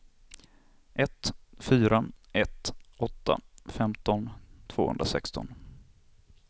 ett fyra ett åtta femton tvåhundrasexton